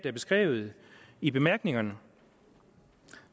er beskrevet i bemærkningerne